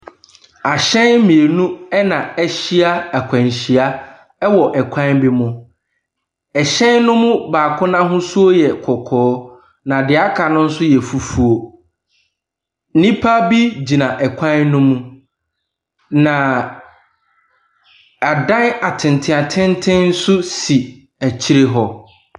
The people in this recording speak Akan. Ahyɛn mmienu na ahyia akwanhyia wɔ kwan bi ho. Ɛhyɛn no mu baako ahosuo yɛ kɔkɔɔ, na deɛ aka no yɛ fufuo. Nnipa bi gyina kwan no mu, na adan atenten atenten nso si akyire hɔ.